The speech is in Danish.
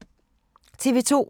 TV 2